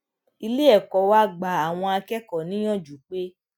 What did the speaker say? ilé èkó wa gba àwọn akékòó níyànjú pé